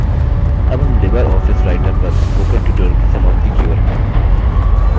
अब हम LibreOffice writer पर spoken tutorial की समाप्ति की ओर हैं